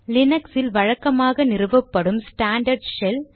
லினக்ஸில் வழக்கமாக நிறுவப்படும் ஸ்டாண்டர்ட் ஷெல்